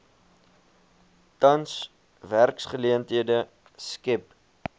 tans werksgeleenthede skep